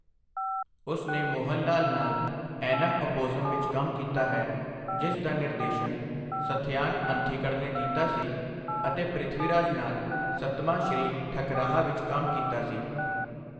ਉਸ ਨੇ ਮੋਹਨਲਾਲ ਨਾਲ ਐਨਮ ਐਪੋਜ਼ੁਮ ਵਿੱਚ ਕੰਮ ਕੀਤਾ ਹੈ, ਜਿਸ ਦਾ ਨਿਰਦੇਸ਼ਨ ਸੱਥਯਾਨ ਅੰਥਿਕੜ ਨੇ ਕੀਤਾ ਸੀ ਅਤੇ ਪ੍ਰਿਥਵੀਰਾਜ ਨਾਲ ਸੱਤਮਾ ਸ੍ਰੀ ਠੱਕਰਾਹਾ ਵਿੱਚ ਕੰਮ ਕੀਤਾ ਸੀ।